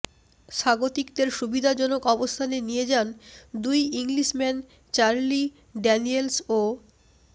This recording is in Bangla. স্বাগতিকদের সুবিধাজনক অবস্থানে নিয়ে যান দুই ইংলিশম্যান চার্লি ড্যানিয়েলস ও